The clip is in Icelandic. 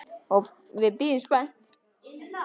Og við bíðum spennt.